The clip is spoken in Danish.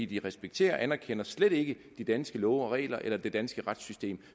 de respekterer og anerkender slet ikke de danske love og regler eller det danske retssystem